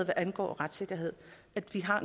hvad angår retssikkerhed at vi har